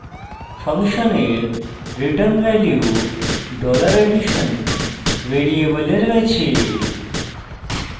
ফাংশনের return value $addition ভ্যারিয়েবলে রয়েছে